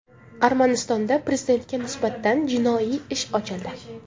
Armanistonda Prezidentga nisbatan jinoiy ish ochildi.